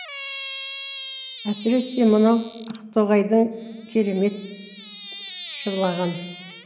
әсіресе мынау ақтоғайды керемет жырлаған